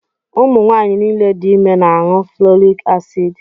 Ụmụ nwaanyị niile dị ime na-aṅụ folik acid.